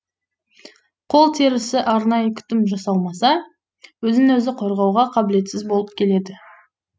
қол терісі арнайы күтім жасалмаса өзін өзі қорғауға қабілетсіз болып келеді